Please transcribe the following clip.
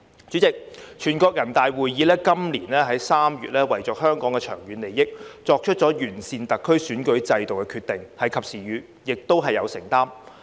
主席，全國人大會議在今年3月為香港的長遠利益，作出了完善特區選舉制度的決定，是及時雨，亦是有承擔。